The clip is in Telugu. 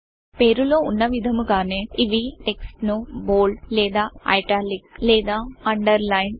పేరులో వున్న విధముగానే ఇవి టెక్స్ట్ ను బోల్డ్ లేదా ఐట్యాలిక్ లేదా అండర్లైన్ చేస్తాయి